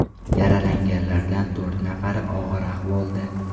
Yaralanganlardan to‘rt nafari og‘ir ahvolda.